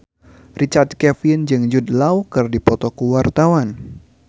Richard Kevin jeung Jude Law keur dipoto ku wartawan